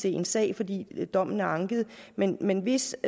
en sag fordi dommen er anket men men hvis